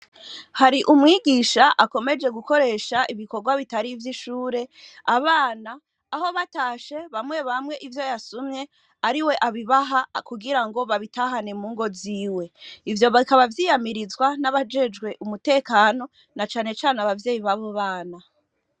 hari umwigisha akomeje gukoresha ibikorwa bitari ivyishure abana aho batashe bamye bamye ivyo yasumye ariwe abibaha kugirango babitahane mungo ziwe ivyo bikaba vyiyamirizwa nabajejwe umutekano na cane cane abavyeyi babo bana